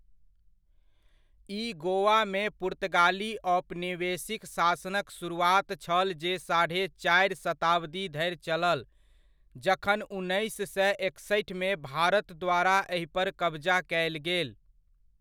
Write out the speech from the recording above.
ई गोवामे पुर्तगाली औपनिवेशिक शासनक शुरुआत छल जे साढ़े चारि शताब्दी धरि चलल जखन उन्नैस सय एकसठमे भारत द्वारा एहि पर कबजा कयल गेल।